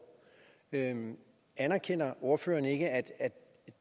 anerkender ordføreren ikke at